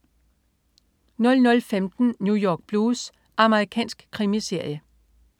00.15 New York Blues. Amerikansk krimiserie